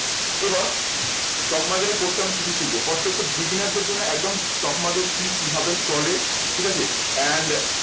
এবং stock market এর course এ আমি কি কি শিখবো first হচ্ছে beginner দের জন্য একদম stock market কি কিভাবে চলে? ঠিক আছে and